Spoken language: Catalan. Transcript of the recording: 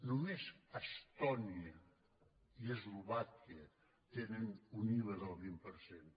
només estònia i eslovàquia tenen un iva del vint per cent